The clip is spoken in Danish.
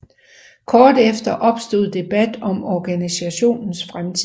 Kort efter opstod debat om organisationens fremtid